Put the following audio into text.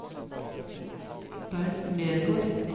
Bernt Nergård